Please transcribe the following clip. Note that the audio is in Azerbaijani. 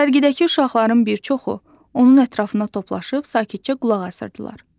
Sərgidəki uşaqların bir çoxu onun ətrafında toplaşıb sakitcə qulaq asırdılar.